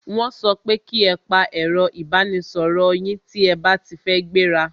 Wọ́n so pe ki e pa ẹ̀ro ìbánisoro yín tí a ba ti fẹ́ gbẹ́ra!